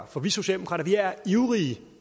for vi socialdemokrater er ivrige